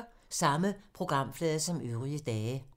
Samme programflade som øvrige dage